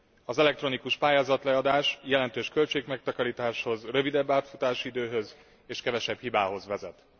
Az elektronikus pályázatleadás jelentős költségmegtakarításhoz, rövidebb átfutási időhöz és kevesebb hibához vezet.